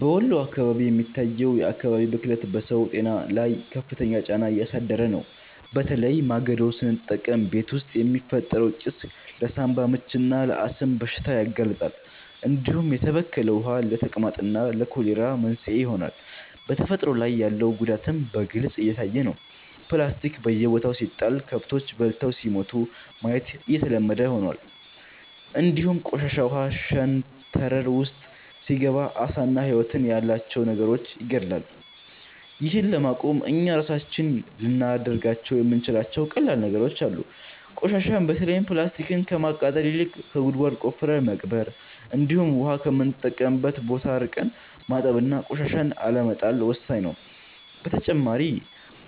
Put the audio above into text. በወሎ አካባቢ የሚታየው የአካባቢ ብክለት በሰው ጤና ላይ ከፍተኛ ጫና እያሳደረ ነው፤ በተለይ ማገዶ ስንጠቀም ቤት ውስጥ የሚፈጠረው ጭስ ለሳንባ ምችና ለአስም በሽታ ያጋልጣል፣ እንዲሁም የተበከለ ውሃ ለተቅማጥና ለኮሌራ መንስኤ ይሆናል። በተፈጥሮ ላይ ያለው ጉዳትም በግልጽ እየታየ ነው፤ ፕላስቲክ በየቦታው ሲጣል ከብቶች በልተው ሲሞቱ ማየት የተለመደ ሆኗል፣ እንዲሁም ቆሻሻ ውሃ ሸንተረር ውስጥ ሲገባ ዓሳና ህይወት ያላቸው ነገሮችን ይገድላል። ይህን ለማቆም እኛ ራሳችን ልናደርጋቸው የምንችላቸው ቀላል ነገሮች አሉ፤ ቆሻሻን በተለይም ፕላስቲክን ከማቃጠል ይልቅ ጉድጓድ ቆፍረን መቅበር፣ እንዲሁም ውሃ ከምንጠቀምበት ቦታ ርቀን ማጠብና ቆሻሻን አለመጣል ወሳኝ ነው። በተጨማሪ